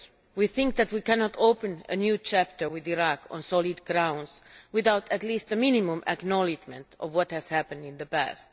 We think that we cannot open a new chapter with Iraq on solid grounds without at least a minimum acknowledgement of what has happened in the past.